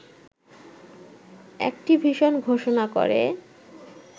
Activision ঘোষণা করে